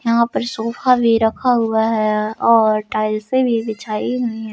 यहां पर सोफा भी रखा हुआ है और टाइल्से भी बिछाई हुई हैं।